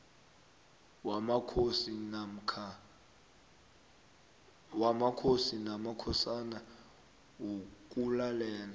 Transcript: wamakhosi namakhosana wokulalela